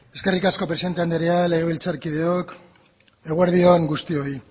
eskerrik asko presidente anderea legebiltzarkideok eguerdi on guztioi